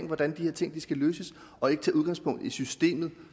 hvordan de her ting skal løses og ikke tage udgangspunkt i systemet